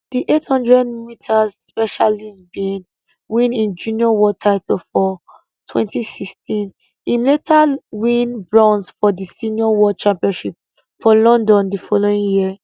di 800m specialist bin win im junior world title for 2016 im later win bronze for di senior world championships for london di following year